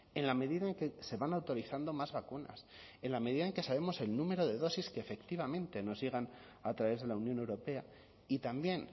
en la medida en que se van autorizando más vacunas en la medida en que sabemos el número de dosis que efectivamente nos llegan a través de la unión europea y también